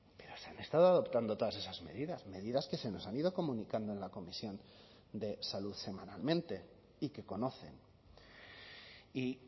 pero se han estado adoptando todas esas medidas medidas que se nos han ido comunicando en la comisión de salud semanalmente y que conocen y